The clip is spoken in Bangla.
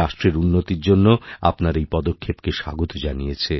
রাষ্ট্রের উন্নতিরজন্য আপনার এই পদক্ষেপকে স্বাগত জানিয়েছে